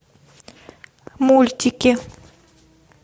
мультики